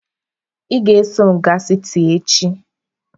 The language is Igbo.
Ị ga-eso m gaa siti echi!.